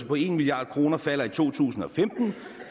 på en milliard kroner falder i to tusind og femten